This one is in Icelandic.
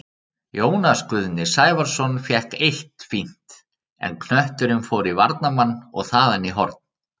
Jónas Guðni Sævarsson fékk eitt fínt, en knötturinn fór í varnarmann og þaðan í horn.